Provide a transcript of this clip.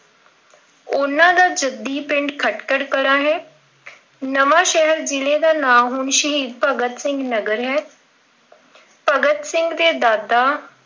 ਉਹਨਾਂ ਦਾ ਜੱਦੀ ਪਿੰਡ ਖ਼ਟਕਲ ਕਲਾ ਹੈ ਅਹ ਨਵਾਂ ਸ਼ਹਿਰ ਜ਼ਿਲ੍ਹੇ ਦਾ ਨਾਮ ਹੁਣ ਸ਼ਹੀਦ ਭਗਤ ਸਿੰਘ ਨਗਰ ਹੈ। ਅਮ ਭਗਤ ਸਿੰਘ ਦੇ ਦਾਦਾ